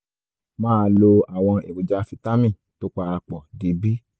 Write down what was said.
máa lo àwọn èròjà fítámì tó para pọ̀ di b